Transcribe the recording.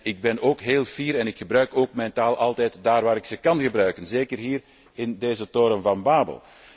Ik ben heel trots op mijn taal en ik gebruik haar altijd daar waar ik haar kan gebruiken, zeker hier in deze toren van babel.